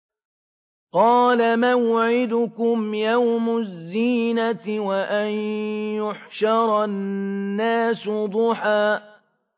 قَالَ مَوْعِدُكُمْ يَوْمُ الزِّينَةِ وَأَن يُحْشَرَ النَّاسُ ضُحًى